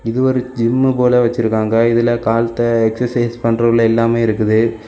இது ஒரு ஜிம்மு போல வச்சிருக்காங்க இதுல காலத்த எக்சர்சைஸ் பண்றபொருள் எல்லாமே இருக்குது.